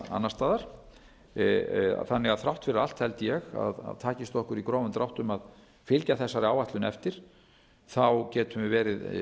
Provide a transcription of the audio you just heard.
annars staðar þannig að þrátt fyrir allt held ég að takist okkur í grófum dráttum að fylgja þessari áætlun eftir getum við verið